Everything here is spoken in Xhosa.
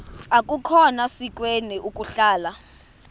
akukhona sikweni ukuhlala